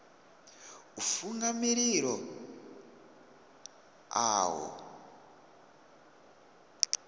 u funga mililo a ho